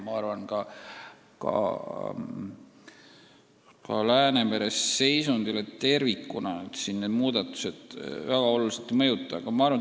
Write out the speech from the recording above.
Ma arvan, et ka Läänemere seisundit tervikuna need väga oluliselt ei mõjuta.